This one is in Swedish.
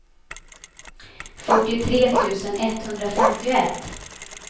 fyrtiotre tusen etthundrafemtioett